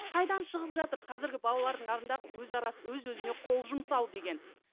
қайдан шығып жатыр қазіргі балалардың алдында өз өзіне қол жұмсау деген